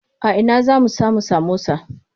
A ina zamu samu samosa?